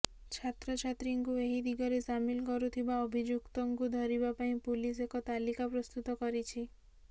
ଛାତ୍ରଛାତ୍ରୀଙ୍କୁ ଏହି ଦିଗରେ ସାମିଲ କରୁଥିବା ଅଭିଯୁକ୍ତଙ୍କୁ ଧରିବା ପାଇଁ ପୁଲିସ ଏକ ତାଲିକା ପ୍ରସ୍ତୁତ କରିଛି